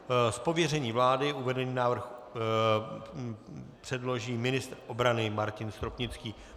Z pověření vlády uvedený návrh předloží ministr obrany Martin Stropnický.